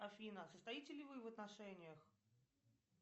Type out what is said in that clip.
афина состоите ли вы в отношениях